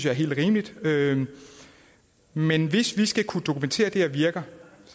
er helt rimeligt rimeligt men hvis vi skal kunne dokumentere at det her virker